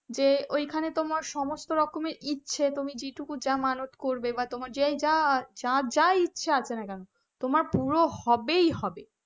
যে ওই খানে তোমার সমস্ত রকমের ইচ্ছে তুমি যে টুকু যা মানত করবে বা তোমার যা যা ইচ্ছা থাকে না কেন তোমার পূরণ হবেই হবে,